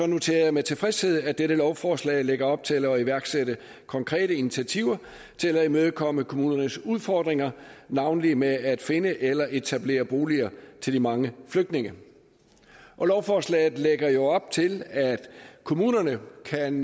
noterer jeg med tilfredshed at dette lovforslag lægger op til at iværksætte konkrete initiativer til at imødekomme kommunernes udfordringer navnlig med at finde eller etablere boliger til de mange flygtninge lovforslaget lægger jo op til at kommunerne kan